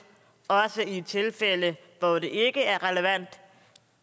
også i tilfælde hvor det ikke er relevant